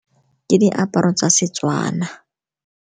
Ke diaparo tsa Setswana.